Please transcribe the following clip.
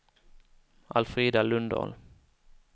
Alfrida Lundahl